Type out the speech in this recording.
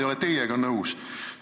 Mina ei ole teiega nõus.